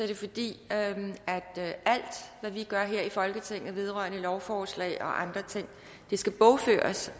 det fordi alt hvad vi gør her i folketinget vedrørende lovforslag og andre ting skal bogføres